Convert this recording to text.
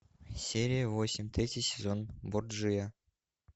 серия восемь третий сезон борджиа